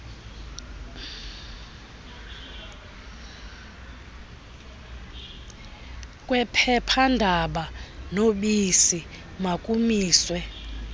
kwephephandaba nobisi makumiswe